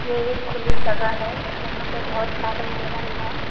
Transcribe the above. ये एक खुली जगह है जहां पे बहोत सारे हिरन है।